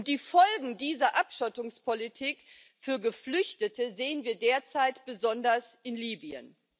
Die Folgen dieser Abschottungspolitik für Geflüchtete sehen wir derzeit besonders in Libyen.